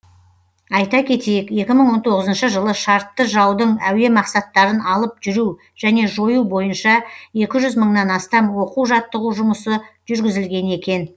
айта кетейік екі мың он тоғызыншы жылы шартты жаудың әуе мақсаттарын алып жүру және жою бойынша екі жүз мыңнан астам оқу жаттығу жұмысы жүргізілген екен